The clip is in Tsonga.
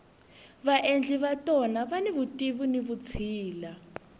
vaendli va tona vani vutivi ni vutshila